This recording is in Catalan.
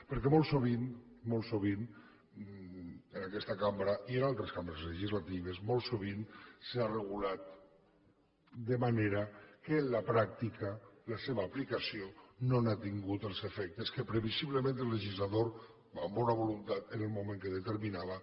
perquè molt sovint molt sovint en aquesta cambra i en altres cambres legislatives molt sovint s’ha regulat de manera que en la pràctica la seva aplicació no ha tingut els efectes que previsiblement el legislador amb bona voluntat en el moment que determinava